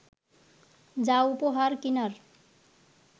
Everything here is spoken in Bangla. যা উপহার কিনার